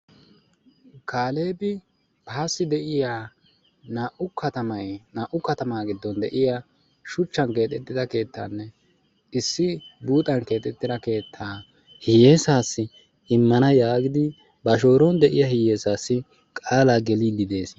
kaaleebi baasi de;'iya naa'u katama naau katamaa gidon de'iya shuchchan keexxetida keettannne issi buuxan keexettida keettaa hiyeesaassi immana giidi ba shooron de'iya hiyeesaassi qaalaa geliidi de'ees.